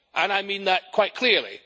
I mean that quite clearly.